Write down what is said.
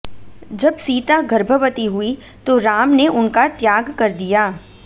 जब सीता गर्भवती हुई तो राम ने उनका त्याग कर दिया